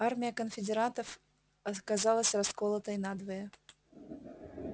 армия конфедератов оказалась расколотой надвое